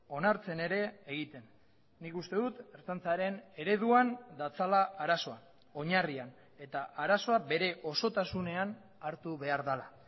onartzen ere egiten nik uste dut ertzaintzaren ereduan datzala arazoa oinarrian eta arazoa bere osotasunean hartu behar dela